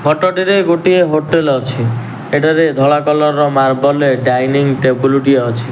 Photo ଟିରେ ଗୋଟିଏ hotel ଅଛି ଏଠାରେ ଧଳା କଲର୍ ର ମାର୍ବଲେ ରେ ଡାଇନିଙ୍ଗ୍ ଟେବୁଲ୍ ଟିଏ ଅଛି।